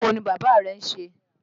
Iṣẹ́ wo ni bàbá rẹ ń ṣe?